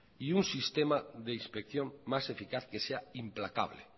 y un sistema de inspección más eficaz que sea implacable